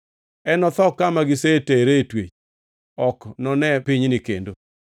Enotho kama gisetere e twech; ok enone pinyni kendo.”